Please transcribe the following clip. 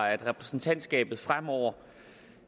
at repræsentantskabet fremover